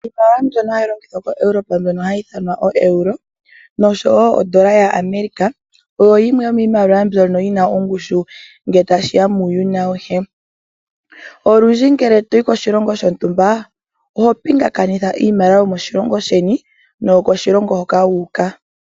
Iimaliwa mbyono hayi longithwa koEuropa mbyono hayi ithanwa ooeuro noshowo odola yaAmerica oyo yimwe yi n aongushu ngele tashi ya kuuyuni auhe. Olundji ngele to yi koshilongo shontumba oho pingakanitha eiimaliwa yomoshilongo sheni noyo koshilongo hoka wu uka.